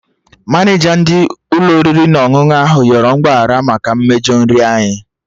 Maneja ndị Ụlọ oriri na ọṅụṅụ ahụ yọrọ mgbaghara maka mmejọ nri anyị